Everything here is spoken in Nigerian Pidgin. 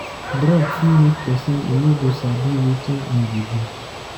Drug fit make pesin e no go sabi wetin him dey do.